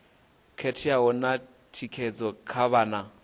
khetheaho na thikedzo kha vhana